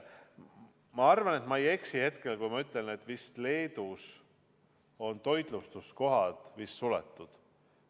Ma arvan, et ma ei eksi, kui ma ütlen, et Leedus on vist toitlustuskohad suletud.